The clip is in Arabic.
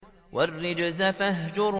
وَالرُّجْزَ فَاهْجُرْ